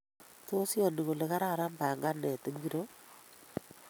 Tos iyoni kole kararan panganet ngiro?---